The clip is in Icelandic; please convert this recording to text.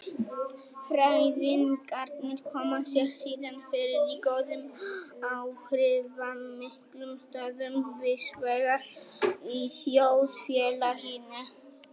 Fræðingarnir koma sér síðan fyrir í góðum áhrifamiklum stöðum víðsvegar í þjóðfélaginu.